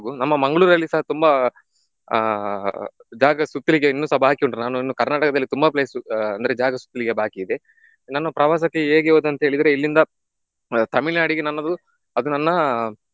ನಮ್ಮ ಮಂಗಳೂರಲ್ಲಿಸ ತುಂಬಾ ಆಹ್ ಜಾಗ ಸುತ್ಲಿಕ್ಕೆ ಇನ್ನುಸ ಬಾಕಿ ಉಂಟು ನಾನು ಇನ್ನು ಕರ್ನಾಟಕದಲ್ಲಿ ತುಂಬಾ place ಆಹ್ ಅಂದ್ರೆ ಜಾಗ ಸುತ್ಲಿಕ್ಕೆ ಬಾಕಿ ಇದೆ. ನಾನು ಪ್ರವಾಸಕ್ಕೆ ಹೇಗೆ ಹೋದೆ ಅಂತ ಹೇಳಿದ್ರೆ ಇಲ್ಲಿಂದ ಆಹ್ ತಮಿಳುನಾಡಿಗೆ ನನ್ನದು ಅದು ನನ್ನ